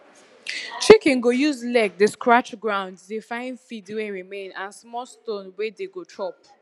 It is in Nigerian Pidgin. chicken go use leg dey scratch ground dey find feed wey remain and small stone wey dey go chop